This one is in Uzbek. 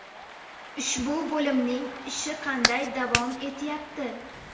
Ushbu bo‘limning ishi qanday davom etyapti?